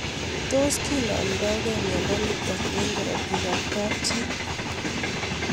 Tos kinamdaikei miondo nitok eng' karatik ab kapchii